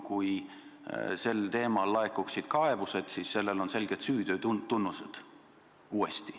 Kui selle kohta laekuksid kaebused, oleks tegu selgete süüteotunnustega.